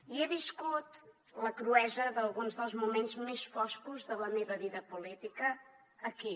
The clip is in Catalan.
i he viscut la cruesa d’alguns dels moments més foscos de la meva vida política aquí